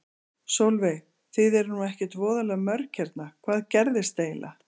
Sólveig: Þið eruð nú ekkert voðalega mörg hérna, hvað gerðist eiginlega?